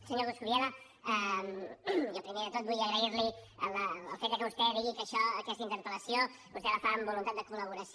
senyor coscubiela jo primer de tot vull agrair li el fet de que vostè digui que aquesta interpel·lació vostè la fa amb voluntat de col·laboració